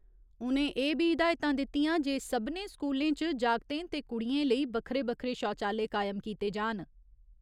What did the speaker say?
उ'नें एह् बी हिदायतां दित्तियां जे सभनें स्कूलें च जागतें ते कुड़ियें लेई बक्खरे बक्खरे शौचालय कायम कीते जान।